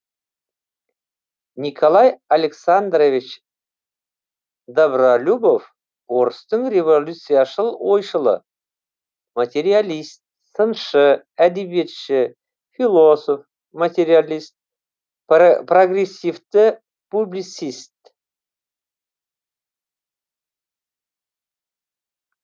николай александрович добролюбов орыстың революцияшыл ойшылы материалист сыншы әдебиетші философ материалист прогрессивті публицист